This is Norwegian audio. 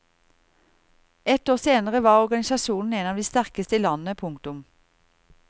Ett år senere var organisasjonen en av de sterkeste i landet. punktum